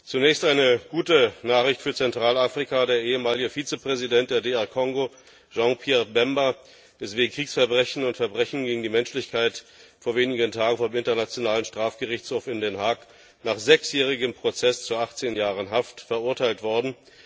Zunächst eine gute Nachricht für Zentralafrika Der ehemalige Vizepräsident der DR Kongo Jean Pierre Bemba ist wegen Kriegsverbrechen und Verbrechen gegen die Menschlichkeit vor wenigen Tagen vom Internationalen Strafgerichtshof in Den Haag nach sechsjährigem Prozess zu 18 Jahren Haft verurteilt worden.